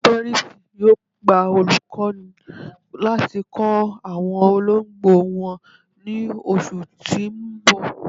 Perry's yóò gbà olùkọ́ni láti kọ awọn òlógbo wọn ni ọṣù tì n bọ̀.